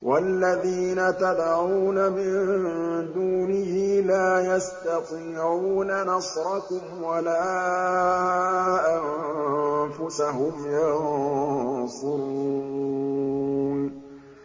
وَالَّذِينَ تَدْعُونَ مِن دُونِهِ لَا يَسْتَطِيعُونَ نَصْرَكُمْ وَلَا أَنفُسَهُمْ يَنصُرُونَ